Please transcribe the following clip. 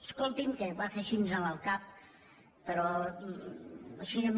escolti’m que va fent així amb el cap però així a mi